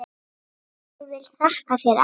Ég vil þakka þér amma.